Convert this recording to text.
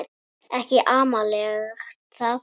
Ekki amalegt það.